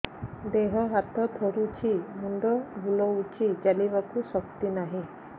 ଦେହ ହାତ ଥରୁଛି ମୁଣ୍ଡ ବୁଲଉଛି ଚାଲିବାକୁ ଶକ୍ତି ନାହିଁ